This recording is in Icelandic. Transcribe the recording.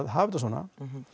hafa þetta svona